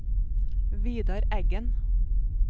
Vidar Eggen